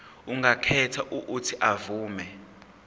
angakhetha uuthi avume